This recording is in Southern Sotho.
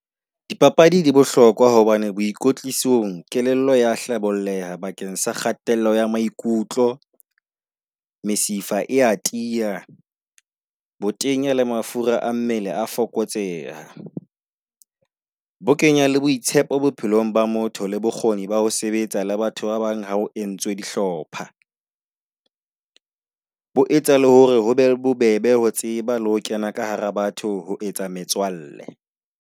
Dipapadi di bohlokwa hobane boikotlisong kelello ya hlabolleha bakeng sa kgatello ya maikutlo, mesifa e a tiya, botenya le mafura a mmele a fokotseha. Bo kenya le boitshepo bophelong ba motho le bokgoni ba ho sebetsa le batho ba bang ha o entswe dihlopha. Ho etsa le hore ho be bobebe ho tseba le ho kena ka hara batho ho etsa metswalle.